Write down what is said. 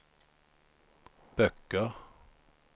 böcker